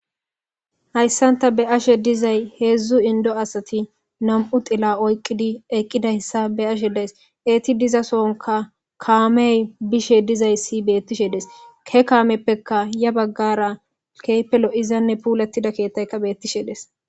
Haysaanta be'ashe dizay hedzdzu inddo asati nam'u tila oyqidi eqidayssa be'ashe de'ays etti dizasonkka kaamey bishe dizayssi beetishe de'es he kaamepekka ya baggara keehippe lo'izanne puuletida keethaykka beetishe de'es.